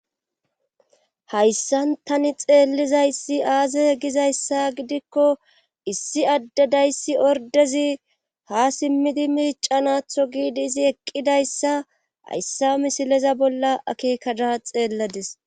Hayssan tani xeellizayssi aaze egizayssa gidikko issi addedayssi ordezi ha simmidi miicanatho giidi izi eqqidayssa hayssa misileza bolla akeekada xeelladis.